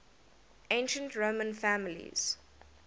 ancient roman families